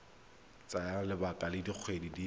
tsaya lebaka la dikgwedi di